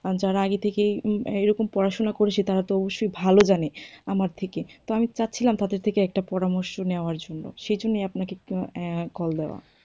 আর যারা আগে থেকেই উম এরকম পড়াশুনা করেছে তারা তো অবশ্যই ভালো জানে আমার থেকে, তো আমি চাচ্ছিলাম তাদের থেকে একটা পরামর্শ নেওয়ার জন্য সে জন্যই আপনাকে উম